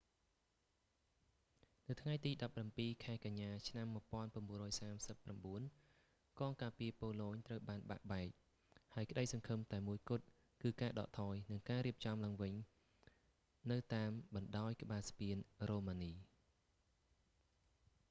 នៅថ្ងៃទី 17 ខែកញ្ញា ឆ្នាំ 1939 កងការពារប៉ូឡូញត្រូវបានបែកបាក់ ហើយក្តីសង្ឃឹមតែមួយគត់គឺការដកថយ និងរៀបចំឡើងវិញនៅតាមបណ្តោយក្បាលស្ពានរ៉ូម៉ានី